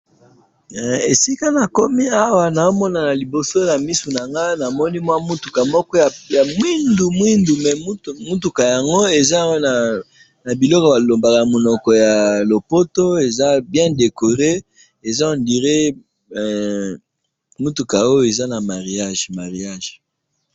esika nakomi awa nazomona na liboso na misu nangai, namoni mutuka moko ya muindo, muindo, mais mutuka yango eza wana na biloko balobaka namonoko ya lopoto eza bien decor, eza on dirait mutuka oyo eza na mariage